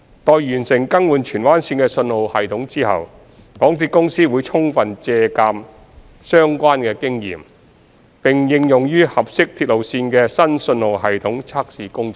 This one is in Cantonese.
待完成更換荃灣綫的信號系統後，港鐵公司會充分借鑒相關的經驗，並應用於合適鐵路線的新信號系統測試工作中。